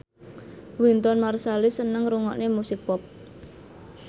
Wynton Marsalis seneng ngrungokne musik pop